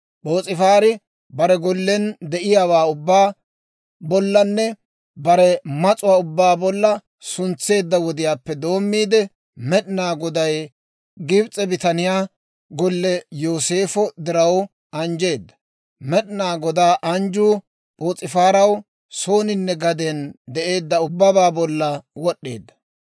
P'oos'ifaari bare gollen de'iyaawaa ubbaa bollanne bare mas'uwaa ubbaa bolla suntseedda wodiyaappe doommiide, Med'inaa Goday Gibs'e bitaniyaa golliyaa Yooseefo diraw anjjeedda. Med'inaa Godaa anjjuu P'oos'ifaara sooninne gaden de'eedda ubbabaa bolla wod'd'eedda.